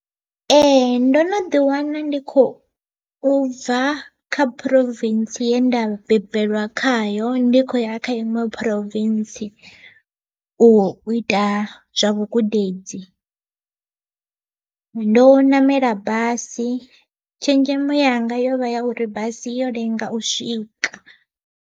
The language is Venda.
Ee ndo no ḓi wana ndi kho bva kha Province yenda bebelwa khayo ndi kho ya kha iṅwe Province, u u ita zwa vhugudedzi. Ndo ṋamela basi tshenzhemo yanga yo vha ya uri basi yo lenga u swika.